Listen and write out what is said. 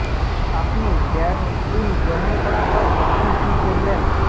আপনি grad school গ্রহণ করা হয় যখন কি করবেন